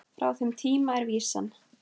Frá þeim tíma er vísan